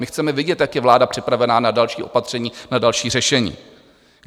My chceme vidět, jak je vláda připravená na další opatření, na další řešení.